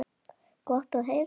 Gott að heyra.